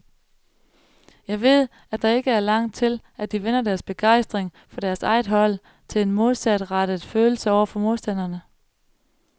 Jeg ved, at der ikke er langt til, at de vender deres begejstring for deres eget hold til en modsatrettet følelse over for modstanderne.